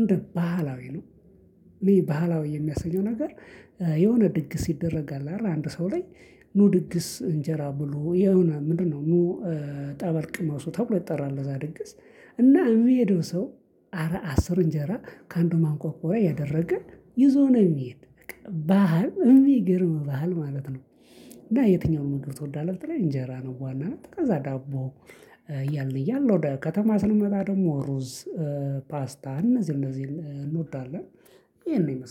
እንደ ባህላዊ ነው። ባህላዊ የሚያሰኘው ነገር የሆነ ድግስ ይደረጋል አይደል አንድ ሰው ላይ ኑ ድግስ እንጀራ ብሉ የሆነ ምንድነው? ኑ ጠበል ቅመሱ ተብሎ ይጠራል ለዛ ድግስ። እና የሚሄደው ሰው አረ አስር እንጀራ ከአንዱ ማንቆርቆሪያ እያደረገ ይዞ ነው የሚሄድ ባህል የሚገርም ባህል ማለት ነው። እና የትኛውንም ምግብ ትወዳለህ ብትለኝ እንጀራ ነው በዋናነት ከዛ ዳቦ። እያልን እያልን ወደ ከተማ ስንመጣ ደግሞ ሩዝ። ፓስታን እነዚህ እነዚህን እንወዳለን። ይሄን ይመስላል